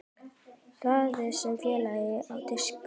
Raðið saman fallega á disk.